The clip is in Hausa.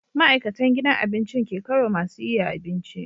Ma'aikatan gidan abincin ke kaiwa masu yiya abinci